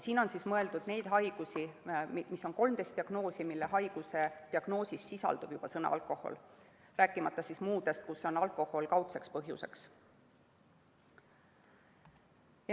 Siin on mõeldud 13 diagnoosi, neid haigusi, mille diagnoosis sisaldub juba sõna "alkohol", rääkimata muudest haigustest, kus alkohol on kaudne põhjus.